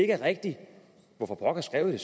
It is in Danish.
er rigtigt hvorfor pokker skrev man